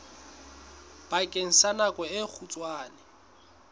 bakeng sa nako e kgutshwane